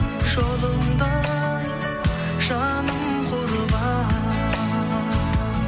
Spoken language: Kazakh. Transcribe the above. жолыңда ай жаным құрбан